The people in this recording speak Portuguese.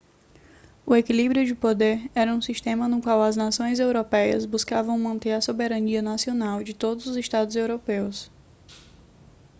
o equilíbrio de poder era um sistema no qual as nações europeias buscavam manter a soberania nacional de todos os estados europeus